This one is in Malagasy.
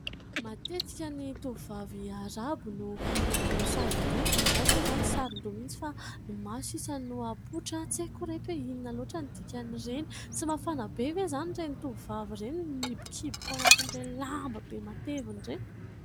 Matetika ny tovovavy Arabo no manao saron-doha, ny an'azy moa izany tsy saron-doha mihitsy fa ny maso ihany no hapoitra tsy haiko ry reto hoe : inona loatra ny dikan'ireny, tsy mafana be ve izany ireny tovovavy ireny no nihibokiboka ao anatin'ireny lamba be matevina ireny ?